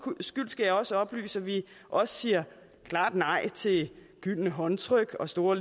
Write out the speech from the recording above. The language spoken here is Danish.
skyld skal jeg også oplyse at vi også siger klart nej til gyldne håndtryk og store